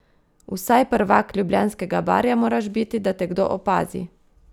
Vsaj prvak Ljubljanskega barja moraš biti, da te kdo opazi!